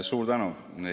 Suur tänu!